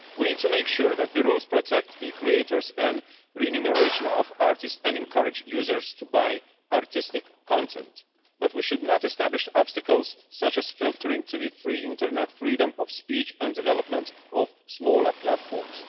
We need to make sure that the rules protect the creators and remuneration of artists and encourage users to buy artistic content, but we should not establish obstacles such as filtering the free Internet, freedom of speech and development of smaller platforms.